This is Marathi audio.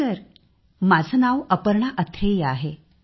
सर माझे नाव अपर्णा अथ्रेय आहे